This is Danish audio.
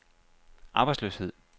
arbejdsløshed